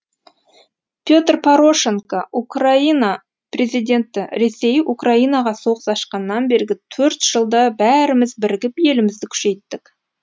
петр порошенко украина президенті ресей украинаға соғыс ашқаннан бергі төрт жылда бәріміз бірігіп елімізді күшейттік